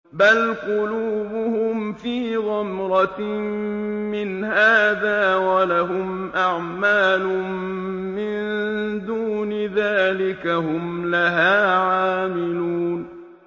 بَلْ قُلُوبُهُمْ فِي غَمْرَةٍ مِّنْ هَٰذَا وَلَهُمْ أَعْمَالٌ مِّن دُونِ ذَٰلِكَ هُمْ لَهَا عَامِلُونَ